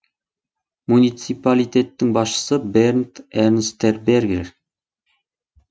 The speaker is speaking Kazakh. муниципалитеттің басшысы бернд эрнстбергер